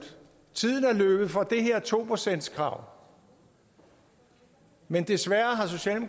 tiden er løbet fra det her to procentskrav men desværre